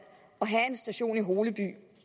at have en station i holeby